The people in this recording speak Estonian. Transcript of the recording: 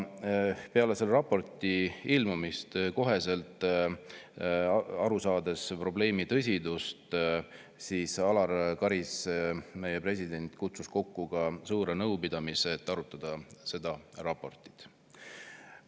Peale selle raporti ilmumist, olles aru saanud probleemi tõsidusest, kutsus Alar Karis, meie president, kokku suure nõupidamise, et seda raportit arutada.